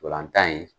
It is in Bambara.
Ntolan tan in